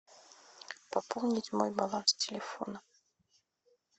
пополнить мой баланс телефона